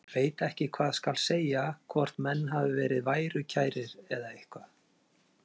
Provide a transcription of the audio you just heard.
Ég veit ekki hvað skal segja, hvort menn hafi verið værukærir eða eitthvað.